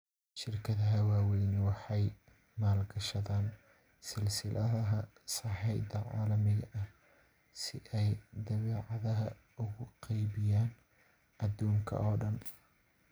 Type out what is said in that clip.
Shirkadaha waaweyni waxay maalgashadaan silsiladaha sahayda caalamiga ah si ay badeecadaha ugu qaybiyaan adduunka oo dhan.